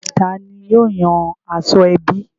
Tani yóò yan aṣọ ẹbí?